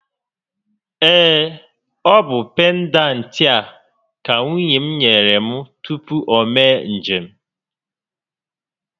Ee, ọ bụ pendantị a ka nwunye m nyere m tupu o mee njem